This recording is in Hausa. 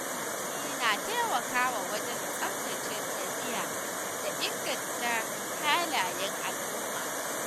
Wa’azi na taimakawa wajen tsaftace ɗabi’a da inganta halayen al’umma.